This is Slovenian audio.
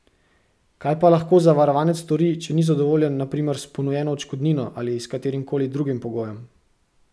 Kaj pa lahko zavarovanec stori, če ni zadovoljen na primer s ponujeno odškodnino ali s katerimkoli drugim pogojem?